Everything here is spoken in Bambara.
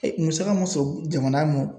musaka mun sɔ jamana mɔ.